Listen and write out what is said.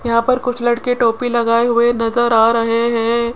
यहां पर कुछ लड़के टोपी लगाए हुए नजर आ रहे हैं।